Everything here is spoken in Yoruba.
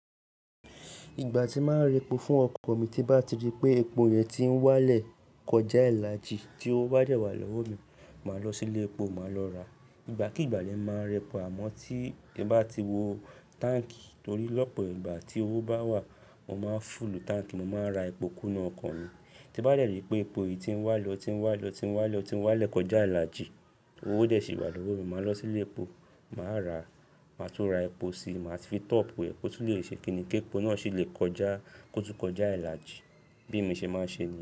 Ìgbà tí màá n repò fún ọkọ mi tí bá ti rí pé epo yẹn ti ń wá lẹ̀ kọjá ìlàjì tí owó bá dẹ̀ wà lọ́wọ́ mi, màá lọ sí ilé epo, màá lọ rà. Ìgbàkígbà lèmi máa n repò àmọ́ tí n bá ti wo táǹkì torí lọ́pọ̀ ìgbà tí owó bá wà, mo máa fúulù táǹkì, mo máa ra epo kúnú ọkọ̀ mi. Tí bá dẹ̀ rí pé epo yìí ti ń wá lẹ̀, ó ti ń wá lẹ̀, ó ti ń wá lẹ̀, ó ti ń wá lẹ̀ kọjá ìlàjì, owó dẹ̀ sì wà lọ́wọ́ mi, màá lọ sí ilé epo, màá ra, màá tún ra epo síi, màá tun fi top ẹ kó tún lè ṣe kiní ki epo náà sì lè kọjá, kó tún kọjá ìlàjì. Bí mi ṣe máa ń ṣe niyen.